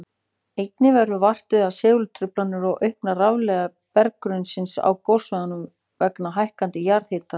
Einnig verður vart við segultruflanir og aukna rafleiðni berggrunnsins á gossvæðinu vegna hækkandi jarðhitastiguls.